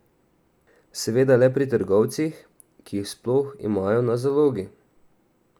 Seveda le pri trgovcih, ki jih sploh imajo na zalogi.